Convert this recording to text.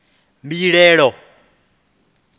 mbilahelo